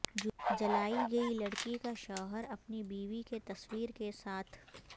جلائی گئی لڑکی کا شوہر اپنی بیوی کی تصویر کے ساتھ